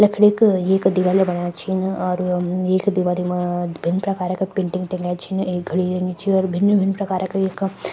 लखड़ी क एक दिवल्या बणाया छिन अर एक दिवारी मा भिन्न प्रकार का पिंटिंग तंक्या छिन एक घड़ी यन्नि च अर भिन्न-भिन्न प्रकार का एका --